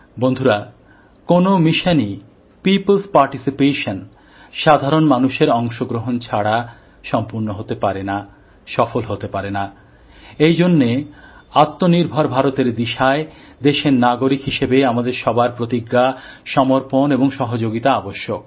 বন্ধুরা কোন মিশনই পিপলস পারটিসিপেশন౼ সাধারণ মানুষের অংশগ্রহণ ছাড়া সম্পূর্ণ হতে পারে না সফল হতে পারে না এই জন্যে আত্মনির্ভর ভারতের দিশায় দেশের নাগরিক হিসেবে আমাদের সবার প্রতিজ্ঞা সমর্পণ এবং সহযোগিতা আবশ্যক